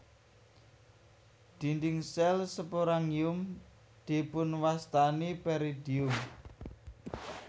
Dinding sel sporangium dipunwastani peridium